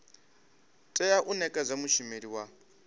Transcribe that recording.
tea u nekedzwa mushumeli wa